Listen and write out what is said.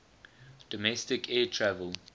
domestic air travel